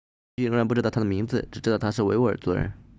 当局仍然不知道他的名字只知道他是维吾尔族人